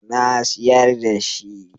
Na siyar da shi.